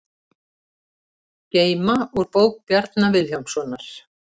Geyma úr bók Bjarna Vilhjálmssonar